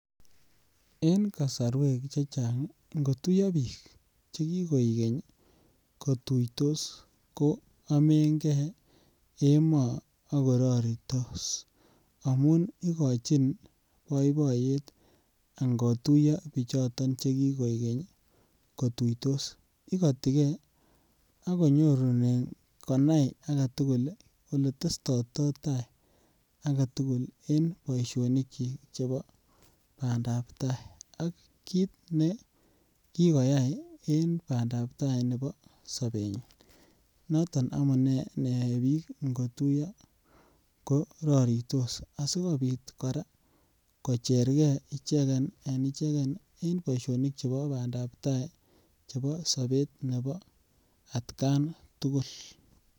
En kosorwek chechang ii ngotuyo biik che kigoikeny ii kituitos kwomengee emoo ak kororitos amun igochin boiboiyet angotuyo bichuton che kii koigeny kituitos, igotigee ako nyorunen konai agetugul ii ole testoto tai agetugul en boisionik kyik chebo bandap tai ak kiit be kigoyay en bandap tai nebo sobenyin. Noton amunee ne yoe biik ngotuyo ko roritos asikopit koraa kochergee icheken en icheken en boisionik chemii chebo bandap tai chebo sobet nebo atkan tugul